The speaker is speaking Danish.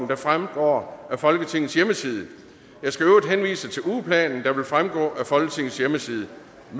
vil fremgå af folketingets hjemmeside jeg skal i øvrigt henvise til ugeplanen der vil fremgå af folketingets hjemmeside